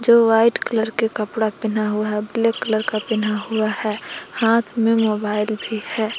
दो white colour के कपड़ा पहना हुआ है ब्लैक कलर का पहना हुआ है हाथ में मोबाइल भी है।